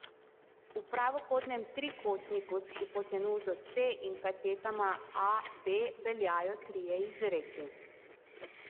V pravokotnem trikotniku s hipotenuzo c in katetama a, b veljajo trije izreki.